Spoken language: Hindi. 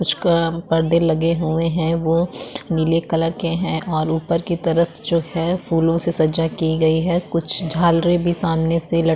कुछ पर्दे लगे हुए है वो नीले कलर के हैं और उपर की तरफ जो है फूलों से सजाई की गए है कुछ झालरी भी सामने से लटकी --